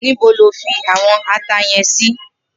Nibó ló fi áwòn àtá yèn si?